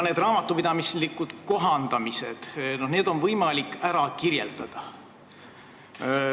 Neid raamatupidamislikke kohandamisi on võimalik ära kirjeldada.